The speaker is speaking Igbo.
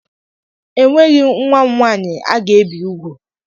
Enweghị nwa m nwaanyị a ga-ebi ugwu.